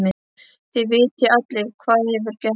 Þið vitið allir hvað hefur gerst.